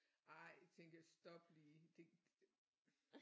Ej tænkte jeg stop lige det